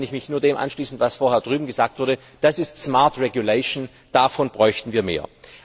Da kann ich mich nur dem anschließen, was vorher drüben gesagt wurde Das ist davon bräuchten wir mehr.